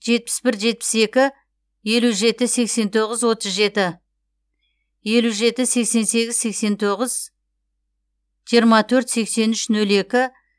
жетпіс бір жетпіс екі елу жеті сексен тоғыз отыз жеті елу жеті сексен сегіз сексен тоғыз жиырма төрт сексен үш нөл екі